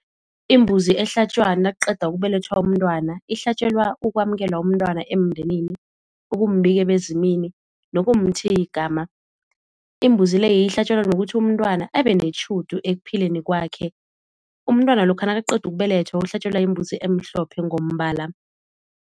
Imbuzi ehlatjwa nakuqeda ukubelethwa umntwana ihlatjelwa ukwamukela umntwana emndenini, ukumubika ebezimini nokumuthiya igama. Imbuzi le ihlatjelwa nokuthi umntwana abenetjhudu ekuphileni kwakhe. Umntwana lokha nakaqeda ukubelethwa uhlatjelwa imbuzi emhlophe ngombala.